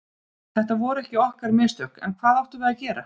Þetta voru ekki okkar mistök, en hvað áttum við að gera?